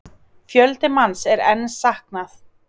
Fjölda manns er enn saknað